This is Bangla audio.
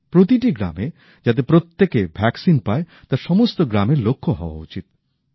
প্রতিটা গ্রামে যাতে প্রত্যেকে টিকা পায় তা সমস্ত গ্রামের লক্ষ্য হওয়া উচিত